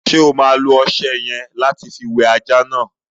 Ṣo ma lo ọṣẹ yẹ̀n lati fi wẹ ajá náà?